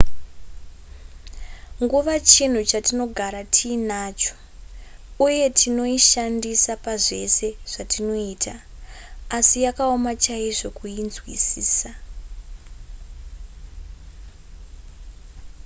nguva chinhu chatinogara tiinacho uye tinoishandisa pazvese zvatinoita asi yakaoma chaizvo kuinzwisisa